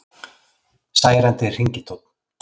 Særandi hringitónn